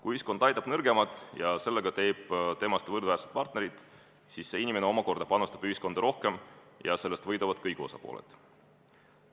Kui ühiskond aitab nõrgemat ja teeb temast sellega võrdväärse partneri, siis see inimene omakorda panustab ühiskonda rohkem ja sellest võidavad kõik osapooled.